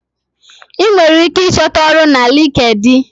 I nwere ike achọta ọrụ na linkedi